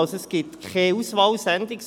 es gibt also keine Auswahlsendung.